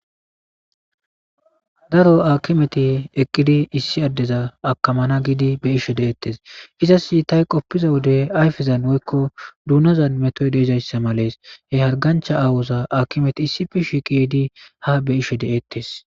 Daro akimeti eqqidi issi addeza akamana giidi be ishe deettes. izas itay qoppiza wode ayfezan woykko duunozan metoy deezayssa malees. he hargancha aawoza akimeti issifi shi qidi ha be ishe de7ettes.